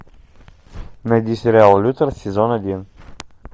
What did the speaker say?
найди сериал лютер сезон один